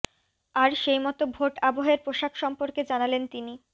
আর সেইমতো ভোট আবহের পোশাক সম্পর্কে জানালেন তিনি